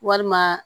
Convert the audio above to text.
Walima